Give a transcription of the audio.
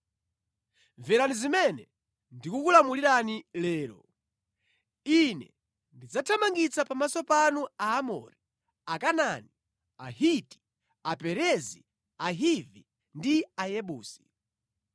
Mverani zimene ndikukulamulirani lero. Ine ndidzathamangitsa pamaso panu Aamori, Akanaani, Ahiti, Aperezi, Ahivi, ndi Ayebusi.